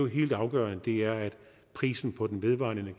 helt afgørende er jo at prisen på den vedvarende